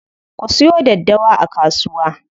Ku siyo daddawa a kasuwa.